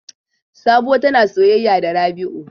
Sabuwa tana soyaya da Rabi'u.